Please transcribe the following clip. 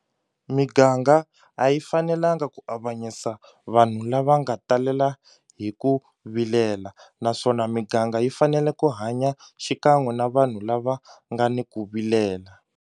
Miganga a yi fanelanga ku avanyisa vanhu lava nga talela hi ku vilela naswona miganga yi fanele ku hanya xikan'we na vanhu lava nga ni ku vilela.